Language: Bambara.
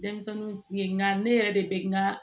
Denmisɛnninw ye nka ne yɛrɛ de bɛ n ka